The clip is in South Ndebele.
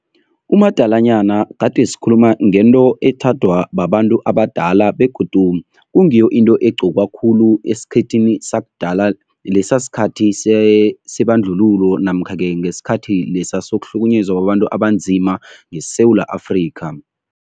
Umadalanyana gade sikhuluma ngento ethandwa babantu abadala begodu kungiyo into egqokwa khulu esikhethwini sakudala, lesa sikhathi sebandlululo namkha-ke ngesikhathi lesa sokuhlukunyezwa kwabantu abanzima ngeSewula Afrika.